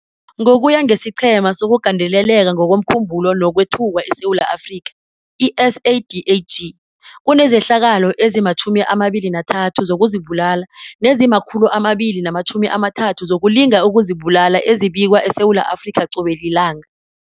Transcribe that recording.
Ngokuya ngesiQhema sokuGandeleleka ngokomKhumbulo nokweThukwa eSewula Afrika, i-SADAG, kunezehlakalo ezima-23 zokuzibulala nezima-230 zokulinga ukuzibulala ezibikwa eSewula Afrika qobe lilanga.